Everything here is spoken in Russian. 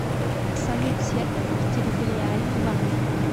салют серпухов территориальный банк